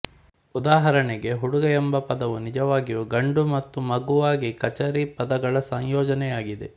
ಉದಾಹರಣೆಗೆ ಹುಡುಗ ಎಂಬ ಪದವು ನಿಜವಾಗಿಯೂ ಗಂಡು ಮತ್ತು ಮಗುವಾಗಿ ಕಚಾರಿ ಪದಗಳ ಸಂಯೋಜನೆಯಾಗಿದೆ